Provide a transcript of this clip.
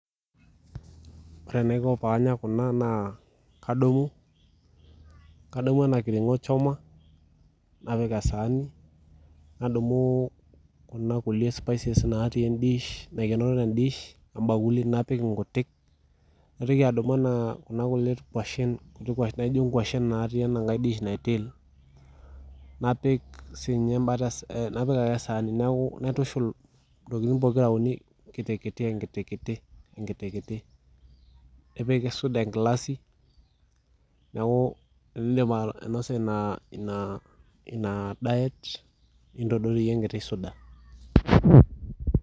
Ore enaiko paanya kuna naa kadumu enakiring'o choma napik esaani nadumu kuna kulie spices naaikenoro te dish naitoki adumu inkuashen naatii enangae dish natii ene napik sii ninye embata pokira uni ekiti enkiti nepik suda enkilasi naok tenaidip ainosa ina daet nintodoyierie enkiti suda